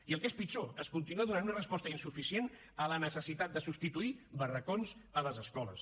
i el que és pitjor es continua donant una resposta insuficient a la necessitat de substituir barracots a les escoles